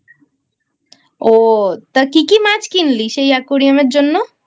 ও তা কি কি মাছ কিনলি সেই Aquarium এর জন্য?